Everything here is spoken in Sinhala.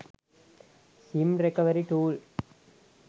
sim recovery tool